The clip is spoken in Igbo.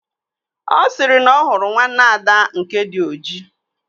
Ọ sịrị na ọ hụrụ nwanne Ada nke dị ojii